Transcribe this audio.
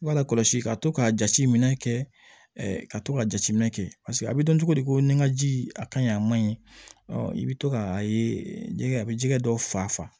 I b'a lakɔlɔsi ka to ka jateminɛ kɛ ka to ka jateminɛ kɛ a bɛ dɔn cogo di ko ni ka ji a ka ɲi a ma ɲi i bɛ to ka a ye jɛgɛ a bɛ jɛgɛ dɔ fa